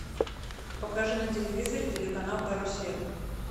покажи на телевизоре телеканал карусель